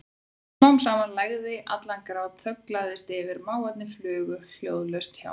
Smám saman lægði allan grát, þögn lagðist yfir og máfarnir flugu hljóðalaust hjá.